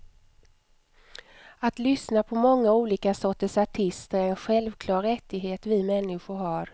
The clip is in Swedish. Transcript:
Att lyssna på många olika sorters artister är en självklar rättighet vi människor har.